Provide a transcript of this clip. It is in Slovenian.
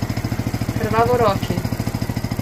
Krvavoroki.